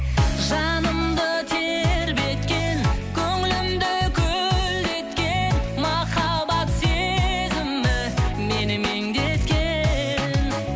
жанымды тербеткен көңілімді көлдеткен махаббат сезімі мені меңдеткен